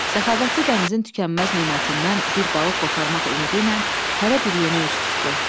Səxavətli dənizin tükənməz nemətindən bir balıq qoparmaq ümidi ilə hərə bir yönə üz tutdu.